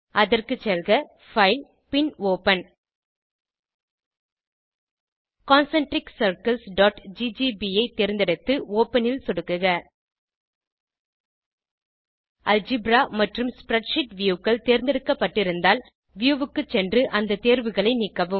அதற்கு செல்க பைல் பின் ஒப்பன் concentriccirclesஜிஜிபி ஐ தேர்ந்தெடுத்து ஒப்பன் ல் சொடுக்குக அல்ஜெப்ரா மற்றும் ஸ்ப்ரெட்ஷீட் Viewகள் தேர்ந்தெடுக்கப்பட்டிருந்தால் வியூ க்கு சென்று அந்த தேர்வுகளை நீக்கவும்